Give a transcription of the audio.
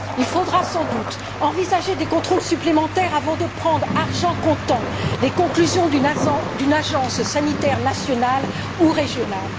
Il faudra sans doute envisager des contrôles supplémentaires avant de prendre pour argent comptant les conclusions d'une agence sanitaire nationale ou régionale.